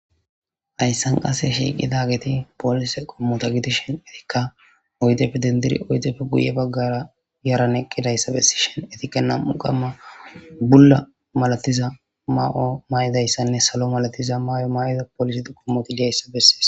Haysan qase shiqidageti polise qommota gidishinka oydeppe dendidi oydeppe huye bagara diza yaran eqidaysa bessishin etika nam'u qomo bulla malatiza mayo mayidaysanne salo mala mayo mayidaysa besses.